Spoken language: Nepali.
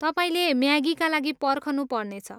तपाईँले म्यागीका लागि पर्खनु पर्नेछ।